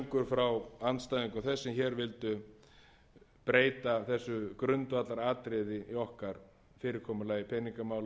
frá andstæðingum þess sem hér vildu breyta þessu grundvallaratriði í okkar fyrirkomulagi peningamála og hagstjórnar sem skiptir meira máli en